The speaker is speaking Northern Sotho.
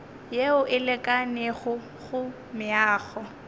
yeo e lekanego go meago